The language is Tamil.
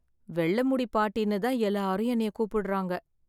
வெள்ளை முடி பாட்டின்னு தான் எல்லாரும் என்னைய கூப்பிடறாங்க.